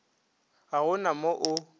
ga go na mo o